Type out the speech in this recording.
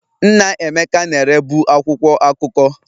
Nna Emeka na-erebu akwụkwọ akụkọ.